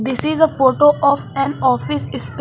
This is a photo of an office esp --